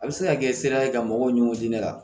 A bɛ se ka kɛ sera ka mɔgɔw ni ɲɔgɔn di ne ma